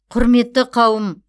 құрметті қауым